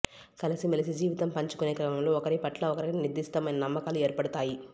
కలిసిమెలసి జీవితం పంచుకునే క్రమంలో ఒకరి పట్ల ఒకరికి నిర్దిష్టమైన నమ్మకాలు ఏర్పడతాయి